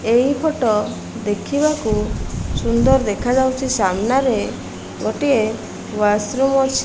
ଏହି ଫଟୋ ଦେଖିବାକୁ ସୁନ୍ଦର୍ ଦେଖାଯାଉଛି ସାମ୍ନାରେ ଗୋଟିଏ ୱାସ-ରୁମ୍ ଅଛି।